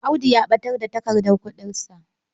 Audu ya ɓatar da takardar kuɗinsa.